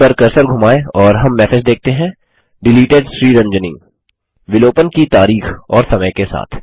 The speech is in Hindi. इस पर कर्सर धुमाएँ और हम मैसेज देखते हैं डिलीटेड Sriranjani विलोपन की तारीख और समय के साथ